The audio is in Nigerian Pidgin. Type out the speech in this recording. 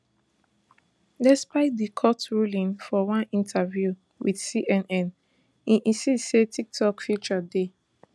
despite di court ruling for one interview wit cnn e insist say tiktok future dey